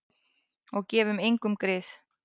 Og gefum engum grið.